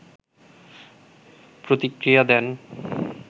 প্রতিক্রিয়া দেন